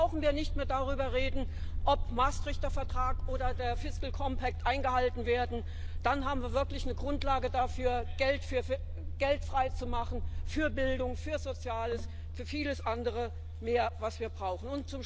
Dann brauchen wir nicht mehr darüber zu reden, ob der Maastrichter Vertrag oder der fiscal compact eingehalten werden, dann haben wir wirklich eine Grundlage dafür, Geld frei zu machen für Bildung, für Soziales, für vieles andere mehr, was wir brauchen.